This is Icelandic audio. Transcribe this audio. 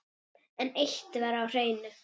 En eitt var á hreinu.